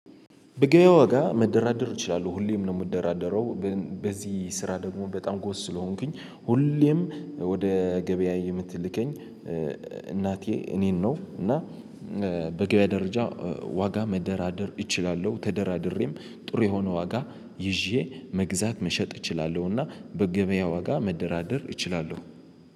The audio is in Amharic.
በገበያ ዋጋ መደራደሩ ይችላሉ ሁሌም ነው የምደራደረው። በዚህ ስራ ደግሞ በጣም ጎስ ስለሆንኩኝ ሁሌም ወደ ገበያ የምትልከኝ እናቴ እኔን ነው። እና በገበያ ደረጃ ዋጋ መደራደር እችላለሁ ተደራድሬም ጥሩ የሆነ ዋጋ ይዤ መግዛት መሸጥ እችላለሁና። በገበያ ዋጋ መደራደር እችላለሁ